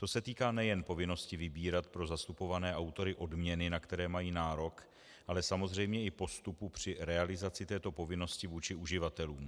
To se týká nejen povinnosti vybírat pro zastupované autory odměny, na které mají nárok, ale samozřejmě i postupu při realizaci této povinnosti vůči uživatelům.